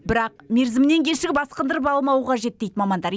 бірақ мерзімінен кешігіп асқындырып алмау қажет дейді мамандар